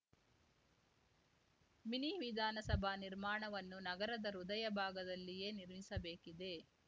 mini Vidhana Sabha ನಿರ್ಮಾಣವನ್ನು ನಗರದ ಹೃದಯಭಾಗದಲ್ಲಿಯೇ ನಿರ್ಮಿಸಬೇಕಿದೆ